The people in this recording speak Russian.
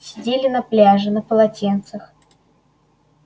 сидели на пляже на полотенцах